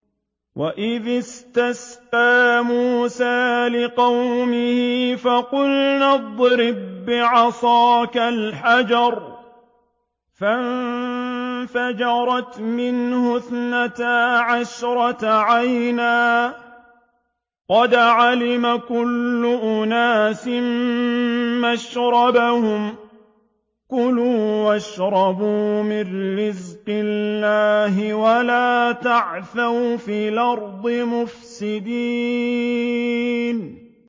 ۞ وَإِذِ اسْتَسْقَىٰ مُوسَىٰ لِقَوْمِهِ فَقُلْنَا اضْرِب بِّعَصَاكَ الْحَجَرَ ۖ فَانفَجَرَتْ مِنْهُ اثْنَتَا عَشْرَةَ عَيْنًا ۖ قَدْ عَلِمَ كُلُّ أُنَاسٍ مَّشْرَبَهُمْ ۖ كُلُوا وَاشْرَبُوا مِن رِّزْقِ اللَّهِ وَلَا تَعْثَوْا فِي الْأَرْضِ مُفْسِدِينَ